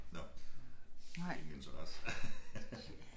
Nåh ingen interesse